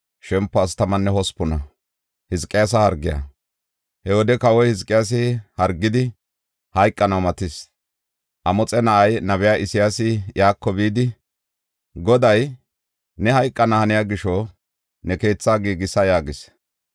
He wode kawoy Hizqiyaasi hargidi, hayqanaw matis. Amoxe na7ay nabey Isayaasi iyako bidi, Goday, “Ne hayqana haniya gisho ne keetha giigisa” yaagis.